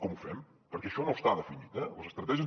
com ho fem perquè això no està definit eh les estratègies